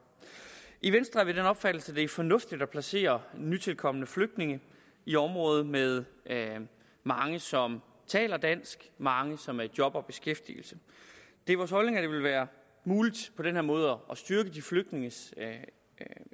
i venstre er vi af den opfattelse at det er fornuftigt at placere nytilkomne flygtninge i områder med mange som taler dansk mange som er i job og beskæftigelse det er vores holdning at det vil være muligt på den her måde at styrke de flygtninges